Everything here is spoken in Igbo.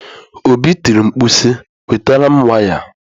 Obi tiri mkpu si, wetara m waya!